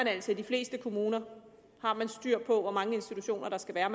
altså i de fleste kommuner de har styr på hvor mange institutioner der skal være og